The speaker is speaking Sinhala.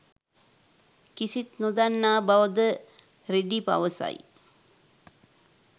කිසිත් නොදන්නා බවද රෙඩ් පවසයි.